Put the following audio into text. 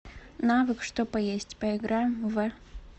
навык что поесть поиграем в